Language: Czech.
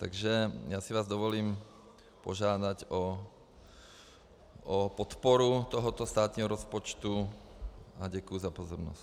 Takže já si vás dovolím požádat o podporu tohoto státního rozpočtu a děkuji za pozornost.